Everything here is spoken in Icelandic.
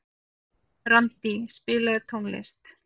Randí, spilaðu tónlist.